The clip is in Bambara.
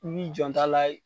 I b'i janto a la